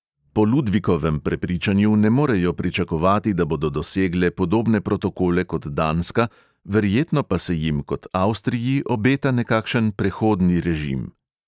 Po ludvikovem prepričanju ne morejo pričakovati, da bodo dosegle podobne protokole kot danska, verjetno pa se jim, kot avstriji, obeta nekakšen prehodni režim.